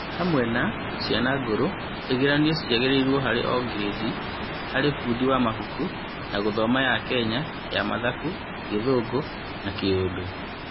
Hamwe na, ciana ngũrũ, igeranio ciagĩrĩirwo harĩ o-grĩndi harĩ mbũndi ya mabuku na gũthoma ya Kenya ya mathabu, gĩthũngũ na Kiurdu.